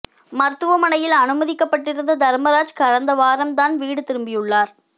மருத்துவமனையில் அனுமதிக்கப்பட்டிருந்த தர்மராஜ் கடந்த வாரம் தான் வீடு திரும்பியுள்ளார்